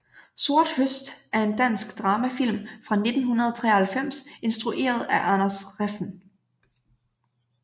Sort høst er en dansk dramafilm fra 1993 instrueret af Anders Refn